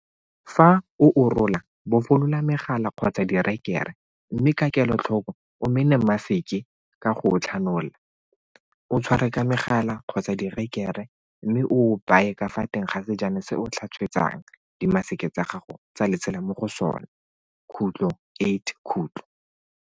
Fa o o rola, bofolola megala kgotsa direkere, mme ka kelotlhoko o mene maseke ka go o tlhanola, o tshware ka megala kgotsa direkere mme o o baye ka fa teng ga sejana se o tlhatswetsang dimaseke tsa gago tsa lesela mo go sona.